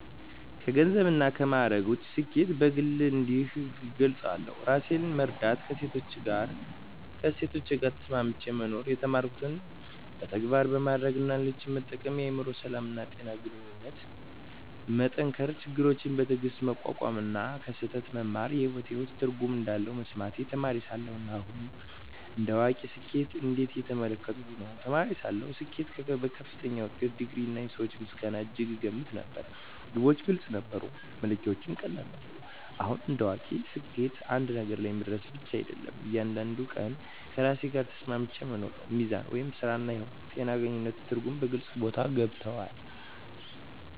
ከገንዘብና ከማዕረግ ውጭ፣ ስኬትን በግል እንዲህ እገልጻለሁ፦ ራሴን መረዳትና ከእሴቶቼ ጋር ተስማምቼ መኖር የተማርኩትን በተግባር ማድረግ እና ሌሎችን መጠቀም የአእምሮ ሰላም፣ ጤና እና ግንኙነቶችን መጠንከር ችግሮችን በትዕግስት መቋቋም እና ከስህተት መማር በሕይወቴ ውስጥ ትርጉም እንዳለ መሰማቴ ተማሪ ሳለሁ እና አሁን እንደ አዋቂ ስኬትን እንዴት እየተመለከትኩ ነው? ተማሪ ሳለሁ ስኬትን በከፍተኛ ውጤት፣ ዲግሪ፣ እና የሰዎች ምስጋና እጅግ እገመት ነበር። ግቦች ግልጽ ነበሩ፣ መለኪያዎቹም ቀላል ነበሩ። አሁን እንደ አዋቂ ስኬት አንድ ነገር መድረስ ብቻ አይደለም፤ እያንዳንዱን ቀን ከራሴ ጋር ተስማምቼ መኖር ነው። ሚዛን (ሥራ–ሕይወት)፣ ጤና፣ ግንኙነት እና ትርጉም በግልጽ ቦታ ገብተዋል።